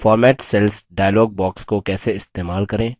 format cells dialog box को कैसे इस्तेमाल करें